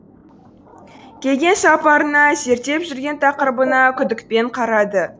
келген сапарына зерттеп жүрген тақырыбына күдікпен қарады